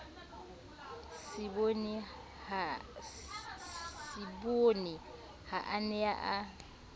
seboni ha a ne a